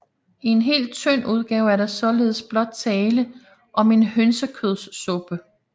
I en hel tynd udgave er der således blot tale om en hønsekødssuppe